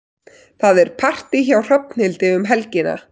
Það er partí hjá Hrafnhildi um helgina.